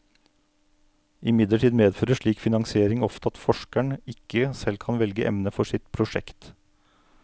Imidlertid medfører slik finansiering ofte at forskeren ikke selv kan velge emne for sitt prosjekt.